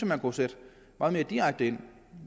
man kunne sætte meget mere direkte ind